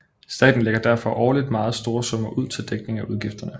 Staten lægger derfor årligt meget store summer ud til dækning af udgifterne